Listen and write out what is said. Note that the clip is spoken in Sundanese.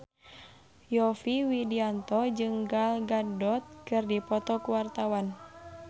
Yovie Widianto jeung Gal Gadot keur dipoto ku wartawan